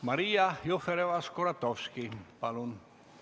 Maria Jufereva-Skuratovski, palun!